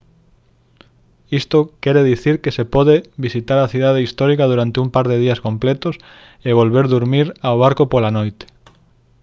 isto quere dicir que se pode visitar a cidade histórica durante un par de días completos e volver durmir ao barco pola noite